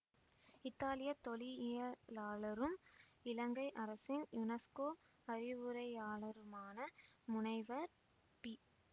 இத்தாலியத் தொல்லியியலாளரும் இலங்கை அரசின் யுனெஸ்கோ அறிவுரையாளருமான முனைவர் பி